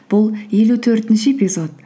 бұл елу төртінші эпизод